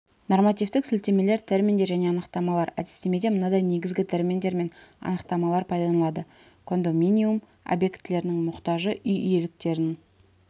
нормативтік сілтемелер терминдер және анықтамалар әдістемеде мынадай негізгі терминдер мен анықтамалар пайдаланылады кондоминиум объектілерінің мұқтажы үй иеліктерін